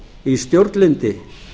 í stjórnlyndi